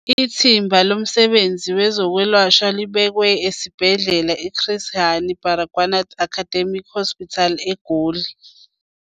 Ithimba Lomsebenzi Wezo kwelashwa libekwe esibhedlela i-Chris Hani Baragwanath Academic Hospital eGoli.